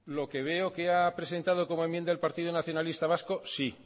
lo que veo que ha presentado como enmienda el partido nacionalista vasco sí